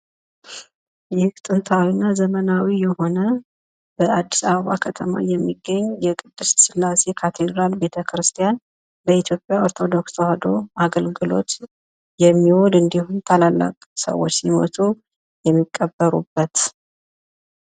ይህ ጥንታዊ እና ዘመናዊ የሆነ በአዲስ አበባ የሚገኝ የቅድስት ስላሴ ካቴድራል በቤተክርስቲያን ሲሆን በኢትዮጵያ ኦርቶዶክስ ተዋህዶ ቤተክርስቲያን አገልግሎት የሚውል እና ትልልቅ ሰዎች ሲሞቱ የሚቀበሩበትቦታ ነው።